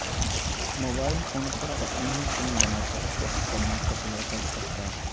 mobile phone پر اپنی ہی فلم بنا کر فروخت کرنے پر لڑکا گرفتار